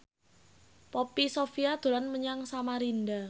Poppy Sovia dolan menyang Samarinda